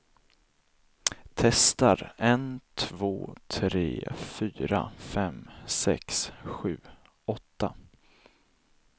Testar en två tre fyra fem sex sju åtta.